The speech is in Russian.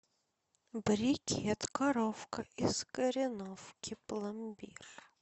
брикет коровка из кореновки пломбир